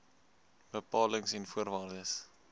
bepalings en voorwaardes